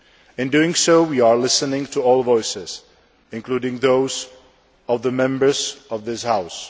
In doing so, we are listening to all voices, including those of the Members of this House.